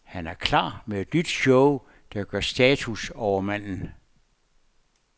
Han er klar med et nyt show, der gør status over manden.